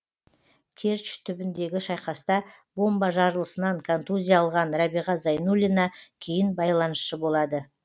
керчь түбіндегі шайқаста бомба жарылысынан контузия алған рәбиға зайнуллина кейін байланысшы болады